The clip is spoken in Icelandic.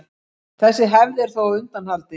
Þessi hefð er þó á undanhaldi.